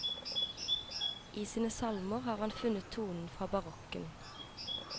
I sine salmer har han funnet tonen fra barokken.